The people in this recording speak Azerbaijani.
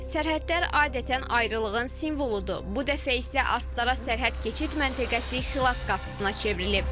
Sərhədlər adətən ayrılığın simvoludur, bu dəfə isə Astara sərhəd keçid məntəqəsi Xilas qapısına çevrilib.